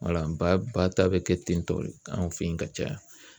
ba ba ta bɛ kɛ ten tɔ de an fɛ yen ka caya